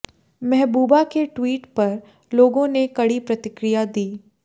महबूबा के ट्वीट पर लोगों ने कड़ी प्रतिक्रिया दी